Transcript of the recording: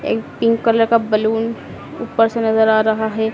एक pink colour का balloon ऊपर से नजर आ रहा है।